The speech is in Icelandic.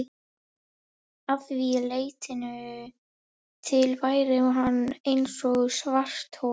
Að því leytinu til væri hann eins og svarthol.